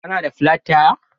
Kana da plat taya.